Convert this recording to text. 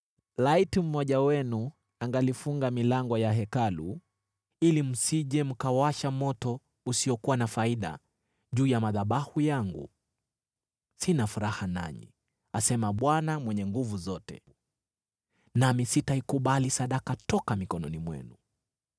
“Laiti mmoja wenu angalifunga milango ya Hekalu, ili msije mkawasha moto usiokuwa na faida juu ya madhabahu yangu! Sina furaha nanyi,” asema Bwana Mwenye Nguvu Zote, “nami sitaikubali sadaka toka mikononi mwenu.